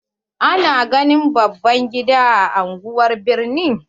Ana ganin baban gida a anguwan birni.